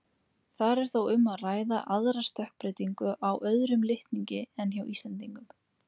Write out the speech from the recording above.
Þar er þó um að ræða aðra stökkbreytingu á öðrum litningi en hjá Íslendingum.